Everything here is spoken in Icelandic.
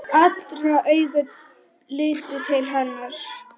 Allra augu litu til hennar.